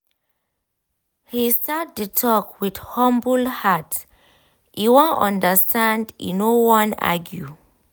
he start the talk with humble hearte wan understand e no wan argue